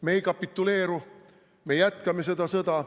Me ei kapituleeru, me jätkame seda sõda.